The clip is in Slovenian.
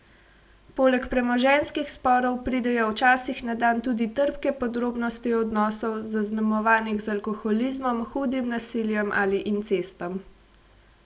Poleg premoženjskih sporov pridejo včasih na dan tudi trpke podrobnosti odnosov, zaznamovanih z alkoholizmom, hudim nasiljem ali incestom.